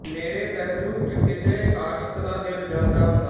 ਮੇਰੇ ਪਹਿਲੂ ਚ ਕਿਸੇ ਆਸ਼ਿਕ ਦਾ ਦਿਲ ਜਲਦਾ ਹੁੰਦਾ